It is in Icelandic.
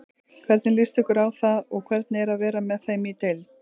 Hvernig líst ykkur á það og hvernig er að vera með þeim í deild?